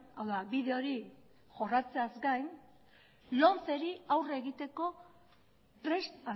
hau da bide hori jorratzeaz gain lomceri aurre egiteko prest